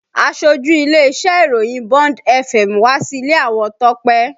Aṣojú ilé-iṣẹ́ ìròyìn Bond fm wá sí ilé àwọn Tọ́pẹ́